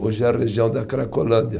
Hoje é a região da Cracolândia.